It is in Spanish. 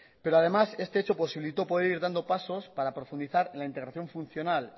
pero además este hecho posibilitó poder ir dando pasos para profundizar en la integración funcional